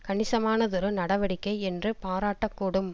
கணிசமானதொரு நடவடிக்கை என்று பாராட்டக் கூடும்